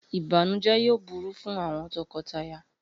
Ibanujẹ yoo buru fun awọn tọkọtaya.